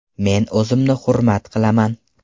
Men o‘zimni hurmat qilaman.